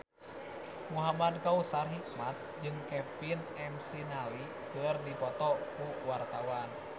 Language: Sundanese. Muhamad Kautsar Hikmat jeung Kevin McNally keur dipoto ku wartawan